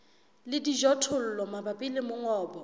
le dijothollo mabapi le mongobo